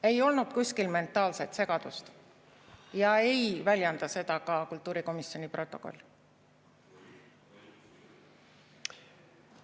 Ei olnud kuskil mentaalset segadust ja ei väljenda seda ka kultuurikomisjoni protokoll.